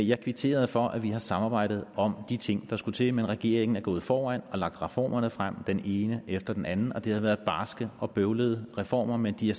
jeg kvitterede for at vi har samarbejdet om de ting der skulle til men regeringen er gået foran og har lagt reformerne frem den ene efter den anden det har været barske og bøvlede reformer men de har